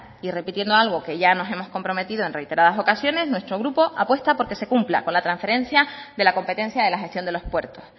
y repitiendo algo que ya nos hemos comprometidos en reiteradas ocasiones nuestro grupo apuesta por que se cumpla con la transferencia de la competencia de la sección de los puertos